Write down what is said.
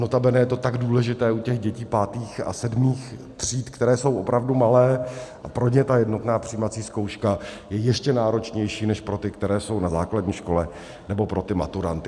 Notabene je to tak důležité u těch dětí pátých a sedmých tříd, které jsou opravdu malé, a pro ně ta jednotná přijímací zkouška je ještě náročnější než pro ty, které jsou na základní škole, nebo pro ty maturanty.